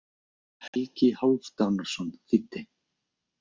Helgi Hálfdanarson þýddi.